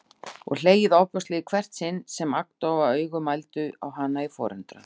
Og hlegið ofboðslega í hvert sinn sem agndofa augu mændu á hana í forundran.